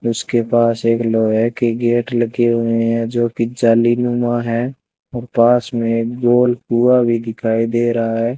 उसके पास एक लोहे की गेट लगी हुई हैं जो कि जालीनुमा हैं और पास में एक गोल कुआं भी दिखाई दे रहा है।